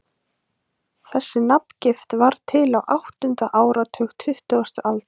Þessi nafngift varð til á áttunda áratug tuttugustu aldar.